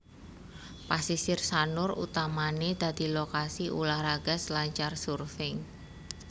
Pasisir Sanur utamané dadi lokasi ulah raga selancar surfing